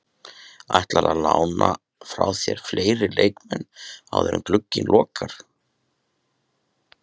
Ætlarðu að lána frá þér fleiri leikmenn áður en glugginn lokar?